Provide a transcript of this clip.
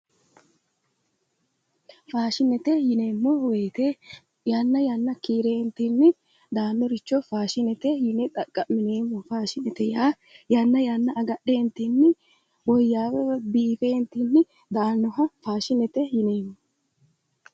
Faashinete yineemmo woyte yanna yanna kiireentinni daannoricho faashinets yine xaqqa'mineemmo faashinete yaa yanna yanna agadheentinni woyyaawe woy biifeentinni daannoha faashinete yineemmo